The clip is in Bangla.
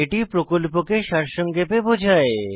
এটি প্রকল্পকে সারসংক্ষেপে বোঝায়